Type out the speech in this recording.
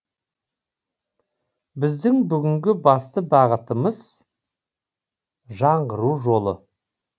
біздің бүгінгі басты бағытымыз жаңғыру жолы